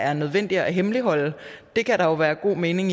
er nødvendigt at hemmeligholde det kan der være god mening